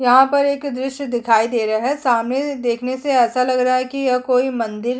यहाँ पर एक दृश्य दिखाई दे रहा है सामने देखने से ऐसा लग रहा है की यह कोई मंदिर--